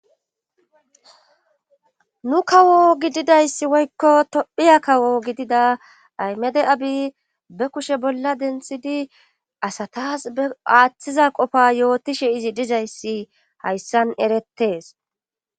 Nu kawo gididayssi woykko tophiya kawo gidida aymede abi be kushe bolla denthidi asatas be aaththiza qofa yootishe izi dizayssi hayssan erettee